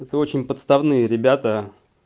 это очень подставные ребята